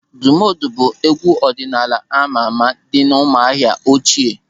Òdùmódù bụ égwú ọdịnala ámá àmà dị n'Ụ́mụ̀ahịà ochie.